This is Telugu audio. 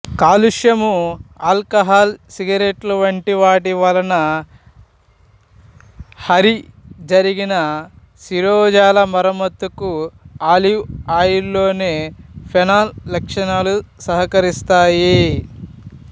కాలుష్యము ఆల్కహాల్ సిగరెట్ల వంటి వాటివలన హారి జరిగిన శిరోజాల మరమ్మత్తుకు ఆలివ్ ఆయిల్ లోని ఫెనాల్ లక్షణాలు సహకరిస్తాయి